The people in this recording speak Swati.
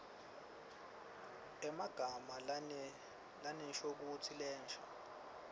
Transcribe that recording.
emagama lanenshokutsi lensha